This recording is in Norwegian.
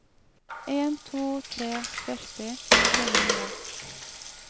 en to tre tre førti tre hundre